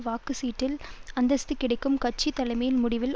வாக்கு சீட்டில் அந்தஸ்து கிடைக்கும் கட்சி தலைமையின் முடிவில்